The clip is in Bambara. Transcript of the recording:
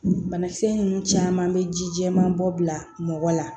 Banakisɛ ninnu caman bɛ ji jɛman bɔ bila mɔgɔ la